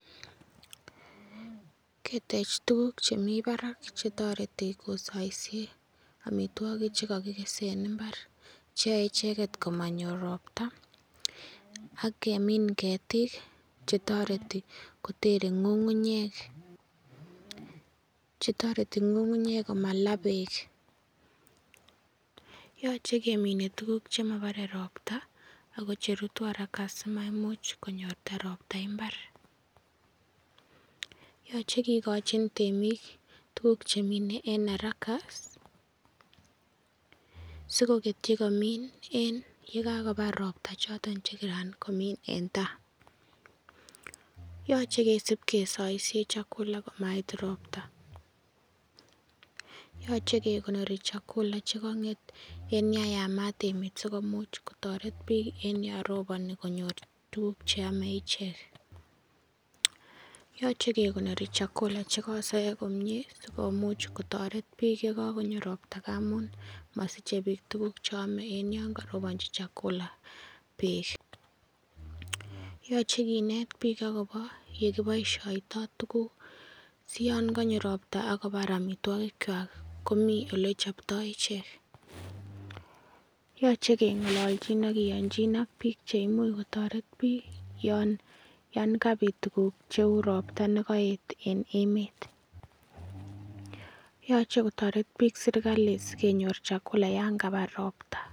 Ketech tuguk che mi barak che toreti kosoisie amitwogik chu kokikese en mbar che yoe icheget komanyor ropta ak kemin ketik che toreti kotere ng'ung'unyek chetoreti ng'ung'unyek komalaa beek yoche kemine tuguk chemobore ropta ago che rutu haraka simaimuch konyorta ropta imbar yoche kigochin temik tuguk che mine en haraka sikoketyi komin en ye kakobar ropta choton che kiran komin en tai yoche kesib kesoisiye chakula komait ropta . yoche ke konori chakula che kong'et en yan yamat emet sikomuch kotoret biik en yon roponi konyor tuguk che ome ichek. Yoche kekonori chakula che kosoiyo komie asikomuch kotoret biik ye kagonyo ropta ngamun mosiche biik tuguk che ome en yon karobonchi chakula beek. Yoche kinet biik agobo ye kiboishoito tuguk siyon konyo ropta ak kobar amitwogik kwak komi ole choptoi ichek. Yoche ke ng'ololchin ak biik che imuch kotoret biik yan kabit tuguk cheu ropta ne kooet en emet. Yoche kotoret biik serkalit sikenyor chakula yan kabar ropta.